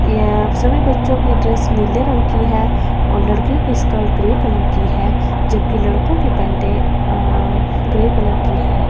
यहां सभी बच्चों की ड्रेस नीले रंग की है और लड़कियों की स्कर्ट ग्रे कलर की है जबकि लड़कों की पेटें ग्रे कलर की है।